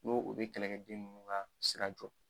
N'o o bɛ kɛlɛkɛden ninnu ka sira jɔ.